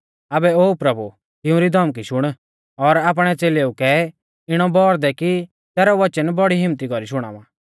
आबै ओ प्रभु तिउंरी धमकी शुण और आपणै च़ेलेऊ कै इणौ बौर दै कि तैरौ वचन बड़ी हिम्मत्ती कौरी शुणावा